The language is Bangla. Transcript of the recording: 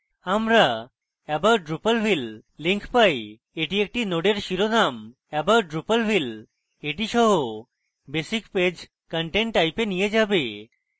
আমরা about drupalville link পাই এটি একটি নোডের শিরোনাম about drupalville সহ basic page content type a নিয়ে যাবে